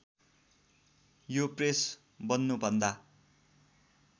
यो प्रेस बन्नुभन्दा